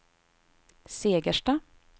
Segersta